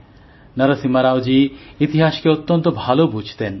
নরসিমা রাওজী ইতিহাসকে অত্যন্ত ভালো বুঝতেন